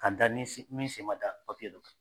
Ka da ni min sen ma da papiye dɔ kan